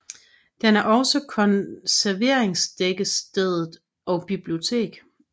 Der er også konserveringværkstedet og bibliotek